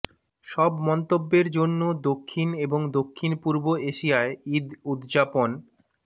সব মন্তব্যের জন্য দক্ষিণ এবং দক্ষিণপূর্ব এশিয়ায় ঈদ উদযাপন